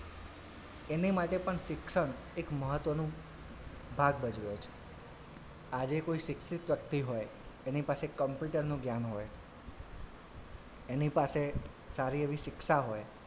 એની માટે પણ શિક્ષણ એક મહત્વનું ભાગ ભજવે છે આજે કોઈ શિક્ષિત વ્યક્તિ હોય એની પાસે computer નું જ્ઞાન હોય એની પાસે સારી એવી શિક્ષા હોય,